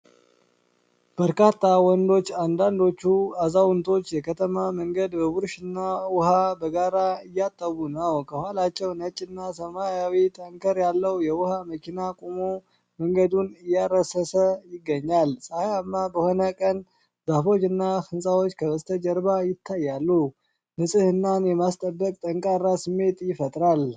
በርካታ ወንዶች፣ አንዳንዶቹ አዛውንቶች፣ የከተማ መንገድ በብሩሽና ውሃ በጋራ እያጠቡ ነው። ከኋላቸው ነጭ እና ሰማያዊ ታንከር ያለው የውሃ መኪና ቆሞ፣ መንገዱን እያረሰሰ ይገኛል። ፀሐያማ በሆነ ቀን ዛፎችና ሕንጻዎች ከበስተጀርባ ይታያሉ፤ ንጽህናን የማስጠበቅ ጠንካራ ስሜት ይፈጥራል።